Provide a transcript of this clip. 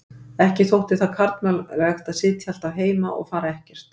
Ekki þótti það karlmannlegt að sitja alltaf heima og fara ekkert.